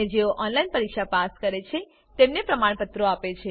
અને જેઓ ઓનલાઈન પરીક્ષા પાસ કરે છે તેમને પ્રમાણપત્રો આપે છે